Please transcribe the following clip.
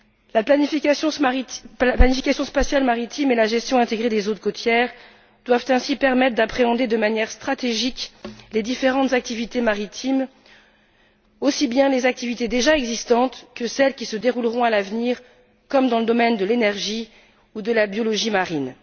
La planification spatiale maritime et la gestion intégrée des zones côtières doivent ainsi permettre d'appréhender de manière stratégique les différentes activités maritimes, aussi bien les activités existantes que celles qui se dérouleront à l'avenir, comme dans le domaine de l'énergie ou de la biologie marine.